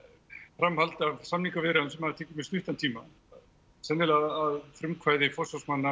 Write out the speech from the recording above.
framhald af samningaviðræðum sem hafa tekið mjög stuttan tíma sennilega að frumkvæði forsvarsmanna